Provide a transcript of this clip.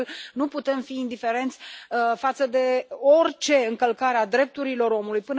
De altfel, nu putem fi indiferenți față de orice încălcare a drepturilor omului.